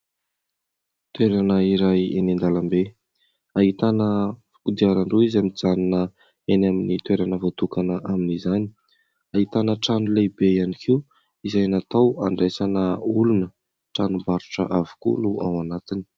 Toerana iray eny an-dalambe, ahitana kodiaran-droa izay mijanona eny amin'ny toerana voatokana amin'izany. Ahitana trano lehibe ihany koa izay natao handraisana olona, tranombarotra avokoa no ao anatiny.